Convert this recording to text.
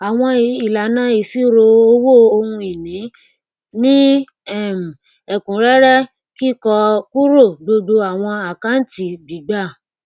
àwọn ìlànà ìṣirò owó ohun ìní ní um ẹkúnrẹrẹ kíkọ kúrò gbogbo àwọn àkáǹtì gbígbà